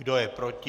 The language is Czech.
Kdo je proti?